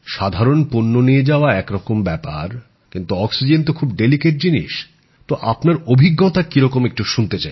সাধারণ পণ্য নিয়ে যাওয়া এক রকম ব্যাপার অক্সিজেন খুব স্পর্শকাতর জিনিষ আপনার অভিজ্ঞতা কীরকম শুনতে চাই